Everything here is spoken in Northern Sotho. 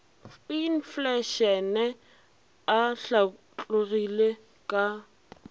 a infleišene a hlatlogilego ka